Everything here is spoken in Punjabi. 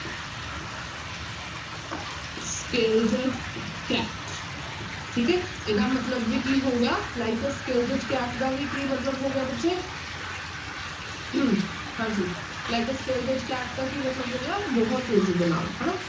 Scalded cat ਠੀਕ ਹੈ ਇਹਦਾ ਮਤਲਬ ਵੀ ਕੀ ਹੋ ਗਿਆ like a scalded cat ਦਾ ਵੀ ਕੀ ਮਤਲਬ ਹੋ ਗਿਆ ਬੱਚੇ ਹਾਂਜੀ like a scalded cat ਦਾ ਕੀ ਮਤਲਬ ਹੋ ਗਿਆ ਬਹੁਤ ਤੇਜ਼ੀ ਦੇ ਨਾਲ ਹਨਾ।